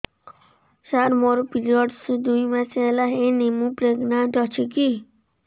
ସାର ମୋର ପିରୀଅଡ଼ସ ଦୁଇ ମାସ ହେଲା ହେଇନି ମୁ ପ୍ରେଗନାଂଟ ଅଛି କି